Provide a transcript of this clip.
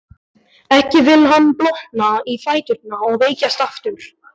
Ekki vill hann blotna í fæturna og veikjast aftur.